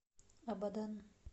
абадан